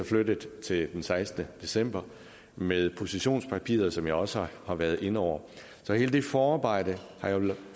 flyttet til den sekstende december og med positionspapiret som jeg også har været inde over så hele det forarbejde har jo